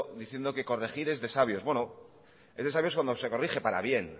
diciendo que corregir es de sabios es de sabios cuando se corrige para bien